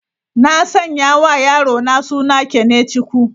Na sanya wa yarona suna 'Kenechukwu'.